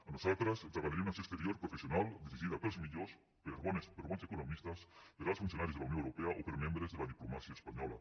a nosaltres ens agradaria una acció exterior professio nal dirigida pels millors per bons economistes per alts funcionaris de la unió europea o per membres de la diplomàcia espanyola